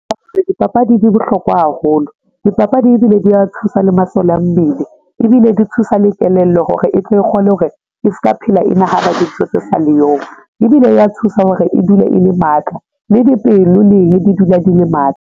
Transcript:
Dipapadi di bohlokwa haholo dipapadi ebile di a thusa le masole a mmele ebile di thusa le kelello hore e tle e kgone hore e ska phela e nahana dintho tse sa le yong ebile e ya thusa hore e dule e le matla, le dipelo leng di dula di le matla.